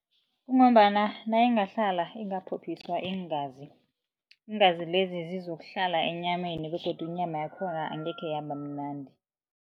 Kungombana nayingahlala ingaphophiswa iingazi, iingazi lezi zizokuhlala enyameni begodu inyama yakhona angekhe yabamnandi.